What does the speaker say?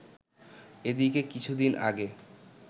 এদিকে কিছুদিন আগে